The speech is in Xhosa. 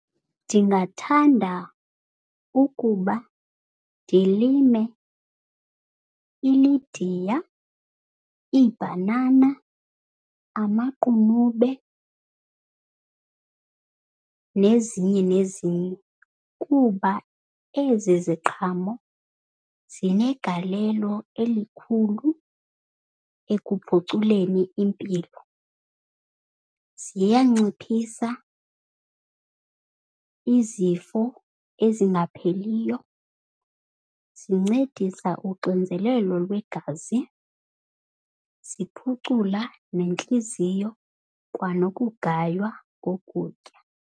Ndingathanda ukuba ndilime ilidiya, iibhanana, amaqunube nezinye nezinye, kuba ezi ziqhamo zinegalelo elikhulu ekuphuculeni impilo. Ziyanciphisa izifo ezingapheliyo, zincedisa uxinzelelo lwegazi, ziphucula nentliziyo kwanokugaywa kokutya.